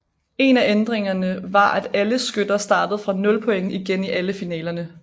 En af ændringer var at alle skytter startede fra nul point igen i alle finalerne